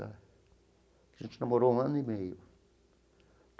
A gente namorou um ano e meio.